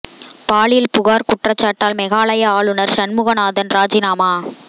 பாலியல் புகார் குற்றச்சாட்டால் மேகாலய ஆளுநர் சண்முகநாதன் ராஜினாமா